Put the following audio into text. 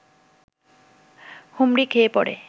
হুমড়ি খেয়ে পড়ে